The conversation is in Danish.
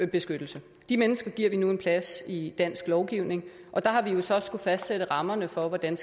beskyttelse de mennesker giver vi nu en plads i dansk lovgivning og der har vi jo så skullet fastsætte rammerne for hvordan